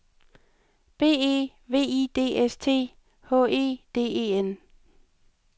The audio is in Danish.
B E V I D S T H E D E N